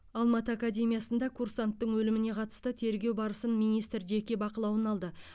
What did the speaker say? алматы академиясында курсанттың өліміне қатысты тергеу барысын министр жеке бақылауына алды